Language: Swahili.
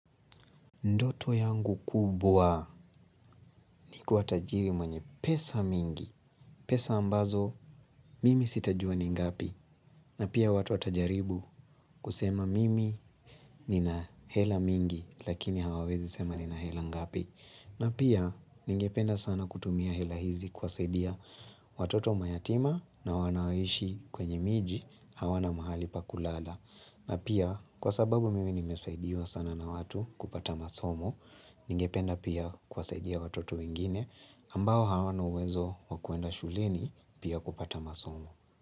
Ndoto yangu kubwa ni kuwa tajiri mwenye pesa mingi. Pesa ambazo mimi sitajua ni ngapi. Na pia watu watajaribu kusema mimi nina hela mingi lakini hawawezi sema nina hela ngapi. Na pia ningependa sana kutumia hela hizi kuwasaidia watoto mayatima na wanaoishi kwenye miji hawana mahali pakulala. Na pia kwa sababu mimi nimesaidiwa sana na watu kupata masomo, ningependa pia kuwasaidia watoto wengine ambao hawana uwezo wa kwenda shuleni pia kupata masomo.